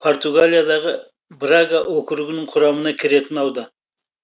португалиядағы брага округінің құрамына кіретін аудан